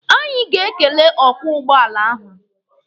Anyị ga-ekele ọkwọ ụgbọala ahụ.